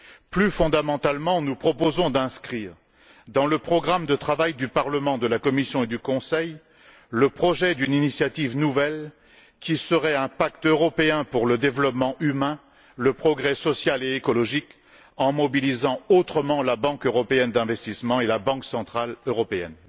Plus fondamentalement, nous proposons d'inscrire dans le programme de travail du Parlement, de la Commission et du Conseil le projet d'une initiative nouvelle qui serait un pacte européen pour le développement humain, le progrès social et écologique en mobilisant autrement la Banque européenne d'investissement et la Banque centrale européenne.